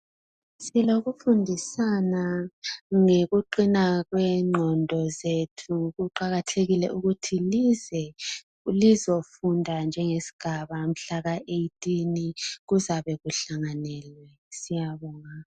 Silokufundisana ngokuqina kwengqondo zethu. Kuqakathekile ukuthi lize lizofunda njengesigaba kuzabe kuhlanganele, siyabonga.